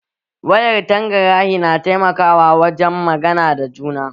Wayar tangarahi na taimakawa wajen magana da juna